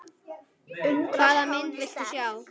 Hvaða mynd viltu sjá?